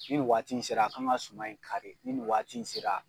Ni nin waati in sera a kan ka suma in kari ni nin waati in sera.